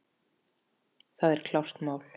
Það er klárt mál.